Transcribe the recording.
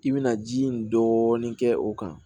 I bɛna ji in dɔɔnin kɛ o kan